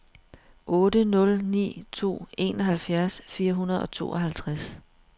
otte nul ni to enoghalvfjerds fire hundrede og tooghalvtreds